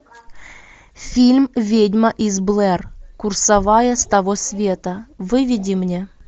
фильм ведьма из блэр курсовая с того света выведи мне